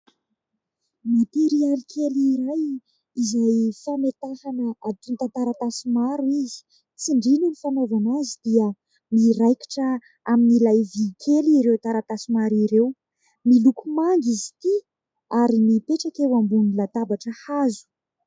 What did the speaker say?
Materialy kely iray izay fametahana atontan-taratasy maro izy. Tsindrina ny fanaovana azy dia miraikitra amin'ilay vy kely ireo taratasy maro ireo. Miloko manga izy ity ary mipetraka eo ambonin'ny latabatra hazo.